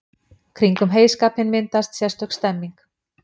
Kringum heyskapinn myndaðist sérstök stemmning.